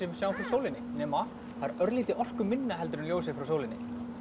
sjáum frá sólinni nema það er örlítið orkuminna heldur en ljósið frá sólinni